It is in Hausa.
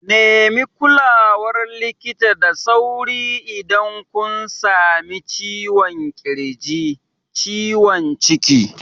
Nemi kulawar likita da sauri idan kun sami ciwon ƙirji, ciwon ciki.